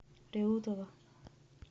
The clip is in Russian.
реутова